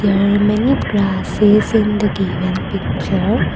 there are many grasses in the given picture.